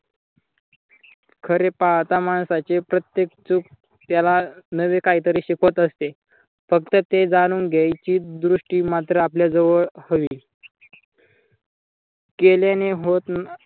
खरे पाहत माणसाची प्रत्येक चूक त्याला नवे कायतरी शिकवत असते. फक्त ते जाणून घ्यायची द्रुष्टी मात्र आपल्या जवळ हवी. केल्याने होत